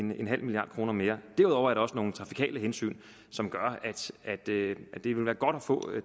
milliard kroner mere derudover er der også nogle trafikale hensyn som gør at det vil være godt at få